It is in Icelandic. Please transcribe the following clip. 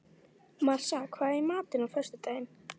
Marsa, hvað er í matinn á föstudaginn?